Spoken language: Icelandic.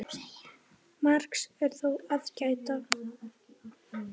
Margs er þó að gæta.